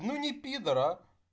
ну ни пидор а